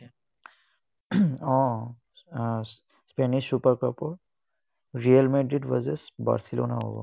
উম uh spanish super cup ৰ Real Madrid versus Barcelona হ'ব।